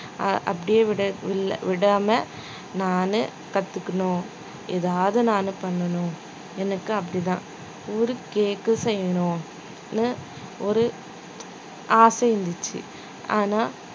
அஹ் அப்படியே விட~ வில்~ விடாம நானு கத்துக்கணும் எதாவது நானு பண்ணணும் எனக்கு அப்படிதான் ஒரு cake செய்யணும்னு ஒரு ஆசை இருந்துச்சு ஆனா